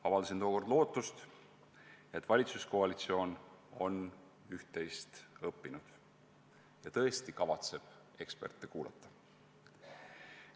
Avaldasin tookord lootust, et valitsuskoalitsioon on üht-teist õppinud ja tõesti kavatseb eksperte kuulata.